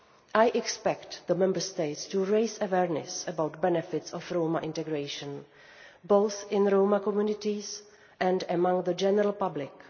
I expect the Member States to raise awareness about the benefits of Roma integration, both in Roma communities and among the general public.